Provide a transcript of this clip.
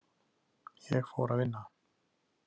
Ég fór að vinna.